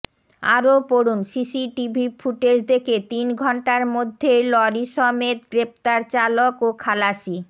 আরও পড়ুন CCTV footage দেখে তিন ঘণ্টার মধ্যে লরিসমেত গ্রেফতার চালক ও খালাসি